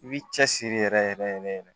I b'i cɛsiri yɛrɛ yɛrɛ yɛrɛ